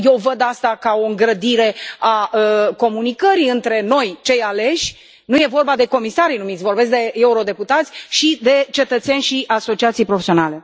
Eu văd aceasta ca o îngrădire a comunicării între noi, cei aleși nu e vorba de comisarii numiți, vorbesc de eurodeputați și de cetățeni și asociații profesionale.